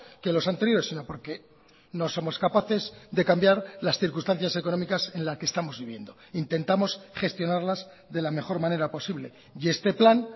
que los anteriores sino porque no somos capaces de cambiar las circunstancias económicas en la que estamos viviendo intentamos gestionarlas de la mejor manera posible y este plan